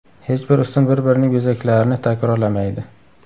Hech bir ustun bir-birining bezaklarini takrorlamaydi.